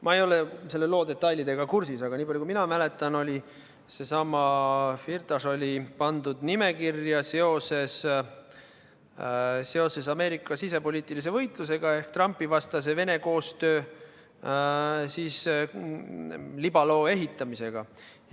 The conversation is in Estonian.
Ma ei ole selle loo detailidega kursis, aga nii palju kui mina mäletan, oli seesama Firtaš pandud nimekirja seoses Ameerika sisepoliitilise võitlusega ehk Trumpi-vastase Vene-koostöö libaloo ehitamisega.